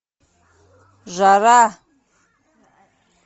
жара